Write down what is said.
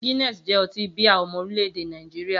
Guinness jẹ́ ọtí bíà ọmọ orílẹ̀-èdè Nàìjíríà